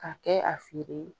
Ka kɛ a feere